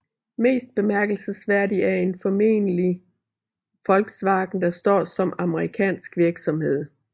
Mest bemærkelsesværdig er formentlig Volkswagen der står som amerikansk virksomhed